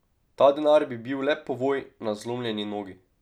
Ta denar bi bil le povoj na zlomljeni nogi.